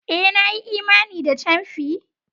Eh! Na yi imani da camfi.